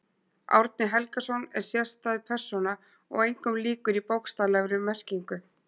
Árni Helgason er sérstæð persóna og engum líkur í bókstaflegri merkingu.